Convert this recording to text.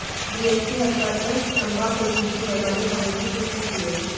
DSP headquarter Chamba Kulbhushan Verma ने खबर की पुष्टि की है